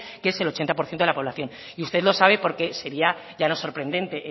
que es el ochenta por ciento de la población usted lo sabe porque sería ya no sorprendente